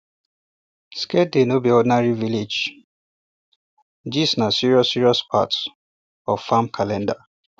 sacred day no be ordinary village um gistna serious serious part um of um farm calendar